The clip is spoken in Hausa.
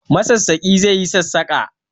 Masassaƙi zai yi sassaƙa